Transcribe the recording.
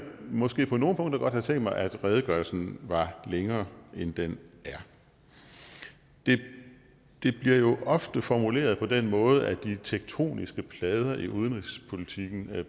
måske på nogle punkter godt have tænkt mig at redegørelsen var længere end den er det bliver ofte formuleret på den måde at de tektoniske plader i udenrigspolitikken